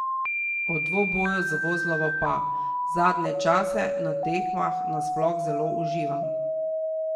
O dvoboju z Vozlovo pa: 'Zadnje časa na tekmah na sploh zelo uživam.